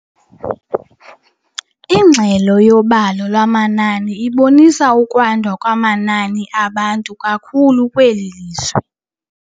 Ingxelo yobalo lwamanani ibonisa ukwanda kwamanani abantu kakhulu kweli lizwe.